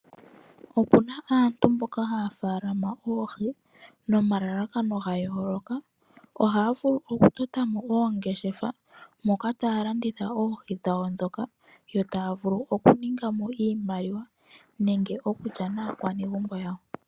Opuna aantu mboka haya faalama oohi nomalalakano ga yooloka . Ohaya vulu oku tota mo oongeshefa moka taya landitha oohi dhawo ndhoka yo taya vulu okuninga mo iimaliwa nenge okulya maakwanegumbo yawo.